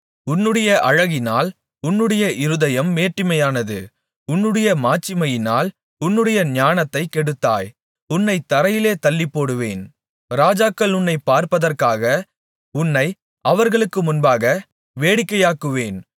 உன்னுடைய அழகினால் உன்னுடைய இருதயம் மேட்டிமையானது உன்னுடைய மாட்சிமையினால் உன்னுடைய ஞானத்தைக் கெடுத்தாய் உன்னைத் தரையிலே தள்ளிப்போடுவேன் ராஜாக்கள் உன்னைப் பார்ப்பதற்காக உன்னை அவர்களுக்கு முன்பாக வேடிக்கையாக்குவேன்